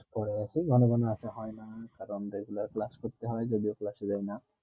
হেঁ এক মাস পর আসি আনো জানা আসা হয়ে না কারণ regular class করতে হয়ে regular class যায় না